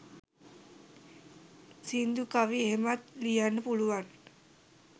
සිංදු කවි එහෙමත් ලියන්න පුළුවන්